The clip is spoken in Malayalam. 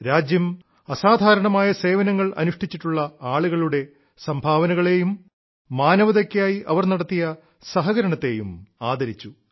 രാജ്യം അസാധാരണമായ സേവനങ്ങൾ അനുഷ്ഠിച്ചിട്ടുള്ള ആളുകളുടെ സംഭാവനകളേയും മാനവതയ്ക്കായി അവർ നടത്തിയ സഹകരണത്തേയും ആദരിച്ചു